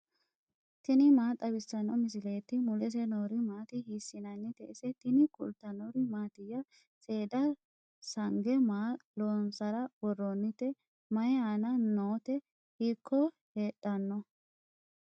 tini maa xawissanno misileeti ? mulese noori maati ? hiissinannite ise ? tini kultannori mattiya? Seeda sange maa loonsara woroonnitte? mayi aanna nootte? hiikko heedhanno?